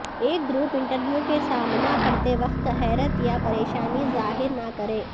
ایک group interview کے سامنا کرتے وقت حیرت یا پریشانی ظاہر نہ کریں